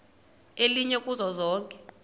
elinye kuzo zonke